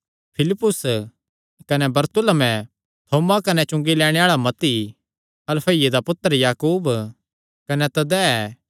फिलिप्पुस कने बरतुल्मै थोमा कने चुंगी लैणे आल़ा मत्ती हलफईये दा पुत्तर याकूब कने तद्दै